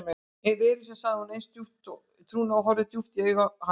Elísa sagði hún eins og í trúnaði og horfði djúpt í augu hans.